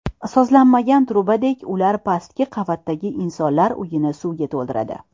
Sozlanmagan trubadek ular pastki qavatdagi insonlar uyini suvga to‘ldiradi.